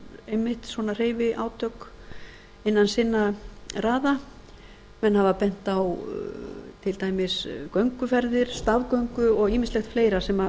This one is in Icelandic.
einmitt svona hreyfiátak innan sinna raða menn hafa bent á til dæmis gönguferðir stafgöngu og ýmislegt fleira sem